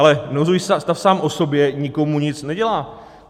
Ale nouzový stav sám o sobě nikomu nic nedělá.